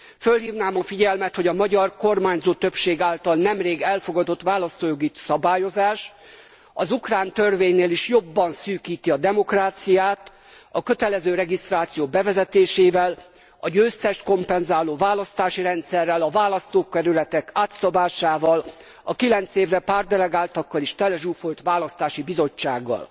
Fölhívnám a figyelmet, hogy a magyar kormányzó többség által nemrég elfogadott választójogi szabályozás az ukrán törvénynél is jobban szűkíti a demokráciát a kötelező regisztráció bevezetésével, a győztest kompenzáló választási rendszerrel, a választókerületek átszabásával, a 9 évre megválasztott pártdelegáltakkal is telezsúfolt választási bizottsággal.